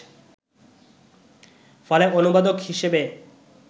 ফলে অনুবাদক হিসেবে